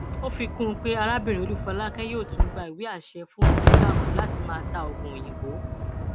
ó fi kún un pé arábìnrin olúfolákè yóò tún gba ìwé àṣẹ fún rìsítákù láti máa ta oògùn òyìnbó